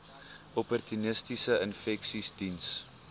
opportunistiese infeksies diens